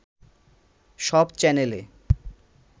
সব চ্যানেলে